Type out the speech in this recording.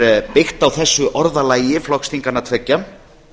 er byggt á þessu orðalagi flokksþinganna tveggja